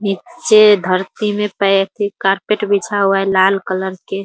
नीचे धरती मे पे कारपेट बिछा हुआ है लाल कलर के |